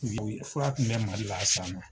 u ye fura tun bɛ mali la a san na.